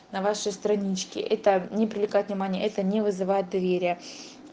на вашей страничке это не привлекает внимания это не вызывает доверия